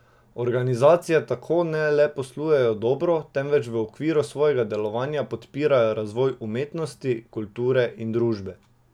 Organizacije tako ne le poslujejo dobro, temveč v okviru svojega delovanja podpirajo razvoj umetnosti, kulture in družbe.